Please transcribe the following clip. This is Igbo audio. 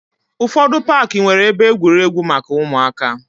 Ụfọdụ paaki nwere ebe egwuregwu maka ụmụaka.